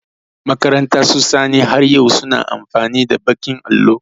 Makarantar su Sani, har yau su na amfani da baƙin allo.